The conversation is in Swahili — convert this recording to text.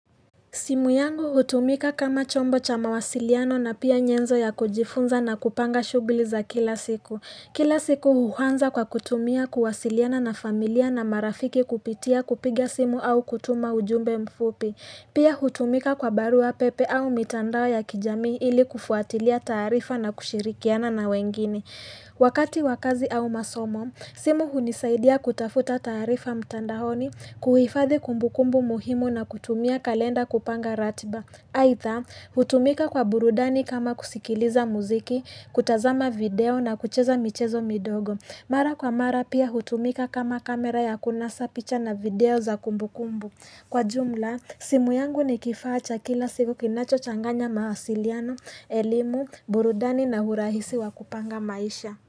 Simu yangu hutumika kama chombo cha mawasiliano na pia nyenzo ya kujifunza na kupanga shughuli za kila siku. Kila siku huanza kwa kutumia kuwasiliana na familia na marafiki kupitia kupiga simu au kutuma ujumbe mfupi. Pia hutumika kwa barua pepe au mitandao ya kijamii ili kufuatilia taarifa na kushirikiana na wengine. Wakati w kazi au masomo, simu hunisaidia kutafuta taarifa mtandaoni kuhifadhi kumbukumbu muhimu na kutumia kalenda kupanga ratiba. Hadha, hutumika kwa burudani kama kusikiliza muziki, kutazama video na kucheza michezo midogo mara kwa mara pia hutumika kama kamera ya kunasa picha na video za kumbukumbu. Kwa jumla simu yangu ni kifaa cha kila siku kinachochanganya mawasiliano, elimu, burudani urahisi wa kupanga maisha.